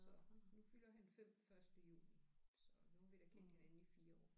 Så nu fylder han 5 første juni så nu har vi da kendt hinanden i 4 år